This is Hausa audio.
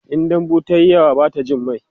in dambu tayi yawa Bata Jin mai